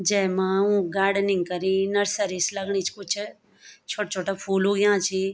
जैमा ऊक गार्डनिंग करीं नर्सरी सी लगणी च कुछ छोट छोटा फूल उग्याँ छी।